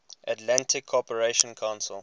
atlantic cooperation council